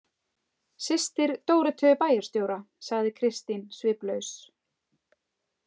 Systir Dóróteu bæjarstjóra, sagði Kristín sviplaus.